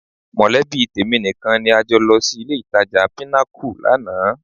Mọ̀lẹ́bí tèmi nìkan ni a jọ lọ sí ilé-ìtajà Pinnacle lánàá